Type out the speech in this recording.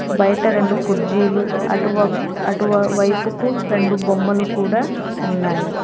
బయట రెండు కుర్జీలు అటువ అటువైపుకు రెండు బొమ్మలు కూడా ఉన్నాయి.